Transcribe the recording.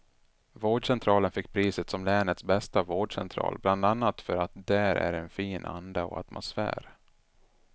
Vårdcentralen fick priset som länets bästa vårdcentral bland annat för att där är en fin anda och atmosfär.